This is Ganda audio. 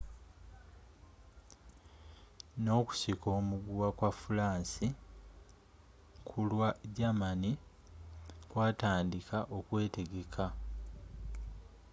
ne okusika omuguwa kwa furansi kulwa germani kwatandiika okwetegeka